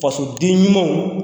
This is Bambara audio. Fasoden ɲumanw